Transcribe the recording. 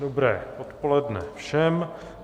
Dobré odpoledne všem.